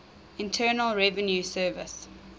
internal revenue service